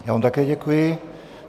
Já vám také děkuji.